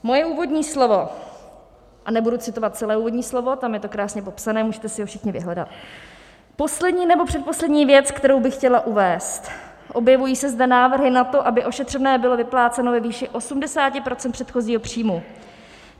Moje úvodní slovo, a nebudu citovat celé úvodní slovo, tam je to krásně popsané, můžete si ho všichni vyhledat: "Poslední nebo předposlední věc, kterou bych chtěla uvést, objevují se zde návrhy na to, aby ošetřovné bylo vypláceno ve výši 80 % předchozího příjmu.